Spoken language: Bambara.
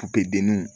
denninw